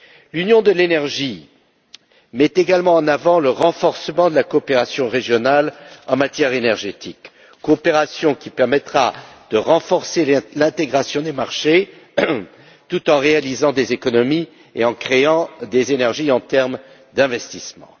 L'union de l'énergie met également en avant le renforcement de la coopération régionale en matière énergétique, coopération qui permettra de renforcer l'intégration des marchés tout en réalisant des économies et en créant des énergies en termes d'investissements.